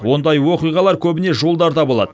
ондай оқиғалар көбіне жолдарда болады